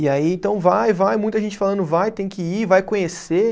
E aí, então, vai, vai, muita gente falando, vai, tem que ir, vai conhecer.